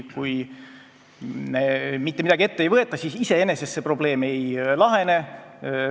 Kui mitte midagi ette ei võeta, siis iseenesest see probleem ei lahene.